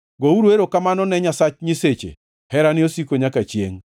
Gouru erokamano ne Nyasach nyiseche: Herane osiko nyaka chiengʼ.